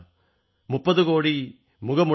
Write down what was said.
മുപ്പതുകോടി മുഗമുടൈയാൾ